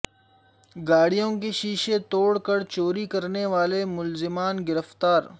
گاڑیوں کے شیشے توڑ کر چوری کرنے والے ملزمان گرفتار